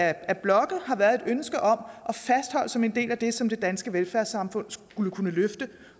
af blokkene har været et ønske om at fastholde som en del af det som det danske velfærdssamfund kunne løfte